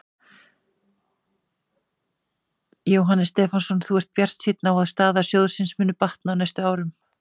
Jóhannes Stefánsson: Þú ert bjartsýnn á að staða sjóðsins muni batna á næstu árum?